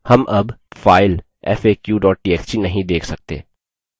हम अब file faq txt नहीं देख सकते